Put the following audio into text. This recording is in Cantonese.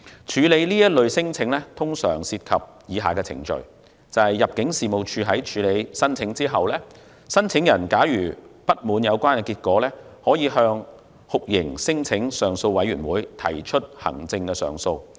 處理這類聲請通常涉及以下程序：入境事務處會處理有關申請，假如申請人不滿有關結果，可以向酷刑聲請上訴委員會提出行政上訴。